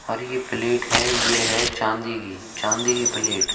और ये प्लेट है ये है चांदी चांदी की प्लेट ।